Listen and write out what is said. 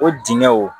O dingɛ wo